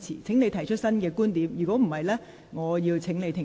請你提出新的觀點，否則我會請你停止發言。